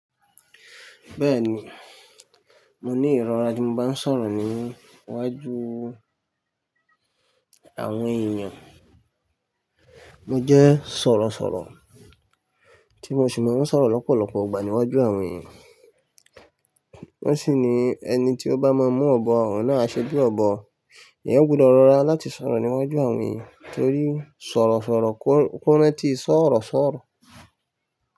Bẹ́ẹ̀ni, mo ní ìrọra tí mo bá ń sọ̀rọ̀ níwájú àwọn èèyàn. Mo jẹ́ sọ̀rọ̀sọ̀rọ̀ tí mo sì máa ń sọ̀rọ̀ lọ́pọ̀lọpọ̀ ọgbà níwájú àwọn èèyàn. Wọ́n sì ni ẹni tí ó bá máa mú ọ̀bọ àwọn náà ṣẹ́bi ọ̀bọ eeyan gbúdọ̀ rọra láti sọ̀rọ̀ níwájú àwọn èèyàn torí sọ̀rọ̀sọ̀rọ̀ kó ràntí sọọ̀rọ̀sọ̀rọ̀.